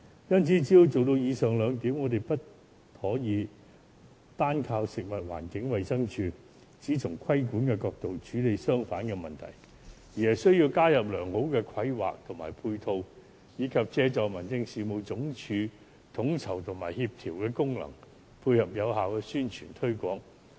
要做到以上兩點，我們不可以單靠食物環境衞生署只從規管的角度處理商販的問題，而是需要引入良好的規劃和配套，以及借助民政事務總署統籌及協調的功能，配合有效的宣傳推廣。